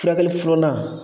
Furakɛli filanan